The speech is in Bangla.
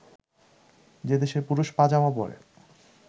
যে দেশে পুরুষ পা-জামা পরে